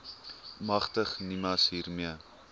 magtig nimas hiermee